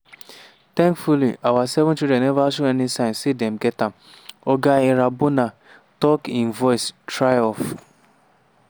thankfully our seven children neva show any signs say dem get am”oga irambona tok im voice trail off.